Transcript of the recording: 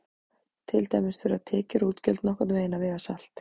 Til dæmis þurfa tekjur og útgjöld nokkurn veginn að vega salt.